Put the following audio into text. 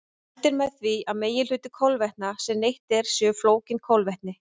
Mælt er með því að meginhluti kolvetna sem neytt er séu flókin kolvetni.